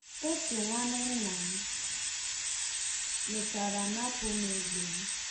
Otu nwanne nna m mechara napụ m egbe m.